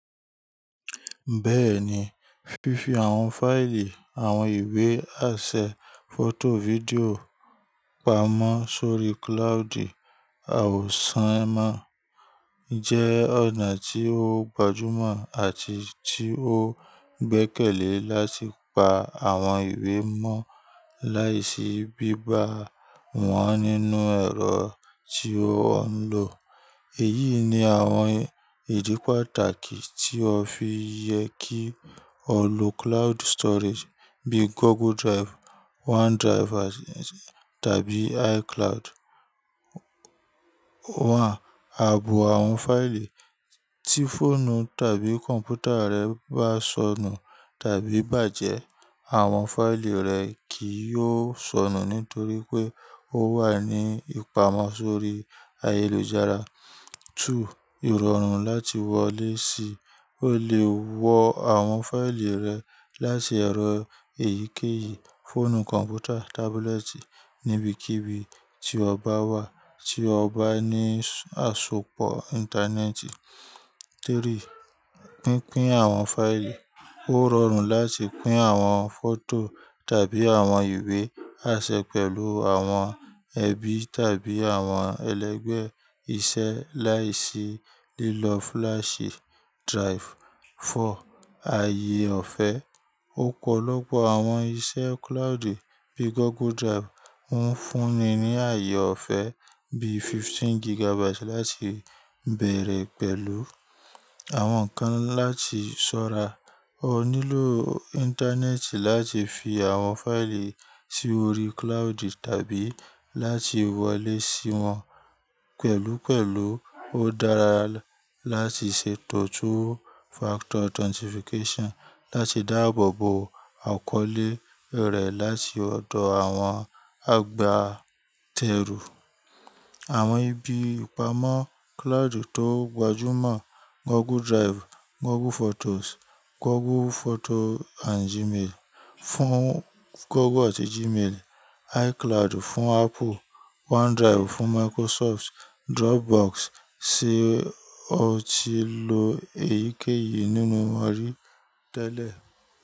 Bẹ́ẹ̀ni, fífi àwọn fáìlì, àwọn ìwé, aṣẹ, fọ́tò, fídíò pamọ́ sórí cloud àwòsánmọ̀ jẹ́ ọ̀nà tí ó gbajúmọ̀ àti tí ó gbẹ́kẹ̀lé láti pa àwọn ìwé mọ́ láìsí bíba wọ́n nínú ẹ̀rọ tí ó ń lò. Èyí ni àwọn ìdí pàtàkì tí ó fi yẹ kí o lò cloud storage bíì Google Drive, OneDrive àti tábí iCloud. One, ààbò àwọn fáìlì. Tí fóònù tàbí kọ̀ǹpútà rẹ bá sọnù tàbí bàjẹ́, àwọn fáìlì rẹ kì í yóò sọnù nítorí pé ó wà ní ìpamọ́ sórí ayélujára. Two, ìrọ̀rùn láti wọlé sí. O lè wọ àwọn fáìlì rẹ láti ẹ̀rọ èyíkéyìí, fóònù, kọ̀ǹpútà, tábúlẹ́ẹ̀tì níbikíbi tí o bá wà tí o bá ní àsopọ̀ íńtánẹ́ẹ̀tì. Three, pínpín àwọn fáìlì. Ó rọrùn láti pín àwọn fọ́tò tàbí àwọn ìwé aṣẹ pẹ̀lú àwọn ẹbí tàbí àwọn ẹlẹ́gbẹ́ iṣẹ́ láìsí lílọ flash drive. Four, ààyè ọ̀fẹ́. Ọ̀pọ̀lọpọ̀ àwọn iṣẹ́ cloud bíi Google Drive ń fúnni ní ààyè ọ̀fẹ́ bíi fifteen gigabyte láti bẹ̀rẹ̀ pẹ̀lú. Àwọn kan láti ṣọ́ra. O nílò íńtánẹ́ẹ̀tì láti fi àwọn fáìlì sí orí cloud tàbí láti wọlé sí wọn. Pẹ̀lúpẹ̀lú ó dára láti ṣe two-factor authentication láti dáàbòbò àkọọ́lẹ̀ rẹ láti ọ̀dọ̀ àwọn àgbátẹrù. Àwọn ibi ìpamọ́ cloud tó gbajúmọ̀ Google Drive, Google Photos, Google Photo and Gmail fún Google àti Gmail, iCloud fún Apple, OneDrive fún Microsoft, Dropbox ṣe o ti lò èyíkéyìí nínú wọn rí tẹ́lẹ̀?